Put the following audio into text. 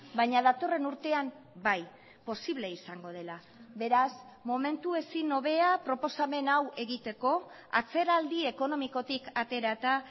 baina datorren urtean bai posible izango dela beraz momentu ezin hobea proposamen hau egiteko atzeraldi ekonomikotik aterata